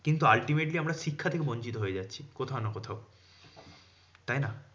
কিন্তু ultimately আমরা শিক্ষা থেকে বঞ্চিত হয়ে যাচ্ছি কোথাও না কোথাও। তাইনা?